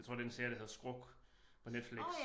Jeg tror det en serie der hedder Skruk på Netflix